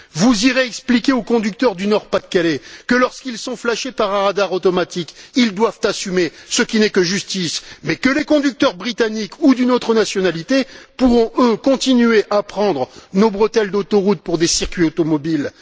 Vous irez expliquer aux conducteurs du Nord Pas de Calais que, lorsqu'ils sont flashés par un radar automatique, ils doivent assumer ce qui n'est que justice mais que les conducteurs britanniques ou d'une autre nationalité pourront, eux, continuer à prendre nos bretelles d'autoroute pour des circuits automobiles.